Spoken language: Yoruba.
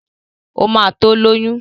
Ó ma tó lóyún